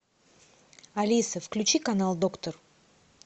алиса включи канал доктор